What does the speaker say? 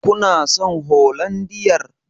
Kuna son holandiyar?